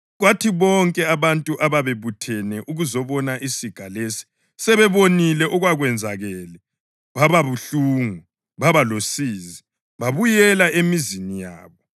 Kwathi bonke abantu ababebuthene ukuzabona isiga lesi sebebonile okwakwenzakele, bababuhlungu, babalosizi, babuyela emizini yabo.